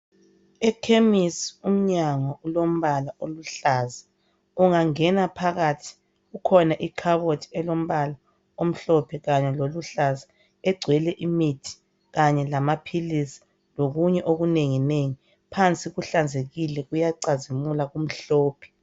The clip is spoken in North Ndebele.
Ekhemisi umnyango ulombala oluhlaza ungangena phakathi kukhona ikhabothi elombala omhlophe kanye loluhlaza egcwele imithi kanye lamaphilisi lokunye okunengingengi phansi kuhlanzekile kuyacazimula kumhlophe.